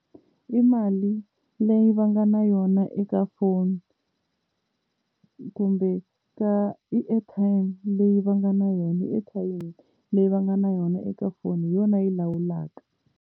I mali leyi va nga na yona eka foni, kumbe ka i airtime leyi va nga na yona airtime leyi va nga na yona eka foni hi yona yi lawulaka.